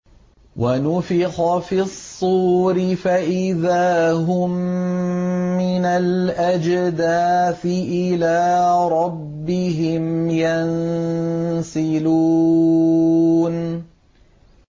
وَنُفِخَ فِي الصُّورِ فَإِذَا هُم مِّنَ الْأَجْدَاثِ إِلَىٰ رَبِّهِمْ يَنسِلُونَ